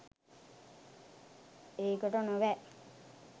ඒකට නොවැ